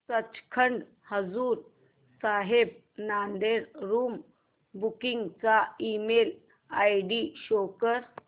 Sachkhand Hazur Sahib Nanded room booking चा email ID show कर